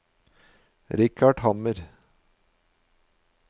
Richard Hammer